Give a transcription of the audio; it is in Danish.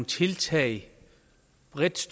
tiltag